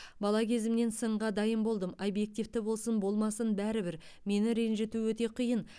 бала кезімнен сынға дайын болдым объективті болсын болмасын бәрібір мені ренжіту өте қиын